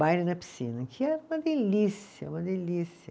Baile na piscina, que era uma delícia, uma delícia.